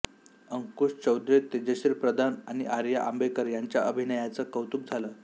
अंकुश चौधरी तेजश्री प्रधान आणि आर्या आंबेकर यांच्या अभिनयाचं कौतुक झालं